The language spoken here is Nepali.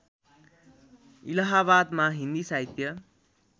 इलाहाबादमा हिन्दी साहित्य